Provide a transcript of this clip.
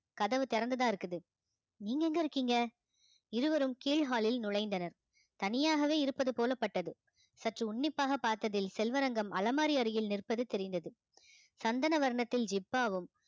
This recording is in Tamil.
கதவு திறந்துதான் இருக்குது நீங்க எங்க இருக்கீங்க இருவரும் கீழ் ஹாலில் நுழைந்தனர் தனியாகவே இருப்பது போலப்பட்டது சற்று உன்னிப்பாக பார்த்ததில் செல்வரங்கம் அலமாரி அருகில் நிற்பது தெரிந்தது சந்தன வர்ணத்தில் ஜிப்பாவும்